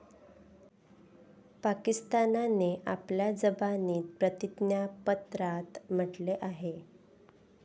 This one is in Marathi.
पाकिस्तानने आपल्या जबानीत प्रतिज्ञापत्रात म्हटले आहे.